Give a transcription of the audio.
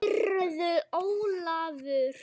Heyrðu Ólafur.